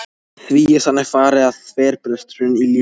Því er þannig farið að þverbresturinn í lífi okkar